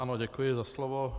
Ano, děkuji za slovo.